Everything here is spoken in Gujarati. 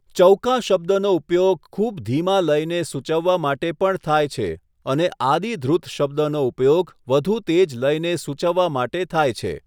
ચૌકા શબ્દનો ઉપયોગ ખૂબ ધીમા લયને સૂચવવા માટે પણ થાય છે અને આદિ ધ્રુત શબ્દનો ઉપયોગ વધુ તેજ લયને સૂચવવા માટે થાય છે.